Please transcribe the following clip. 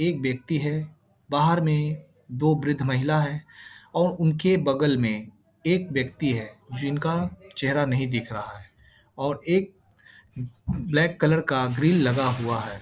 एक व्यक्ति है बाहर में दो वृद्ध महिला है और उनके बगल में एक व्यक्ति है जिनका चेहरा नहीं दिख रहा है और एक ब्लैक कलर का ग्रिल लगा हुआ है।